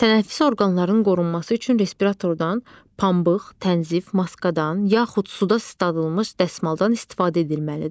Tənəffüs orqanlarının qorunması üçün respiratordan, pambıq, tənzif, maskadan yaxud suda isladılmış dəsmaldan istifadə edilməlidir.